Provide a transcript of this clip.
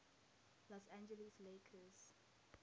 los angeles lakers